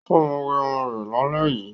ọ má wẹ omó rè là lè yí.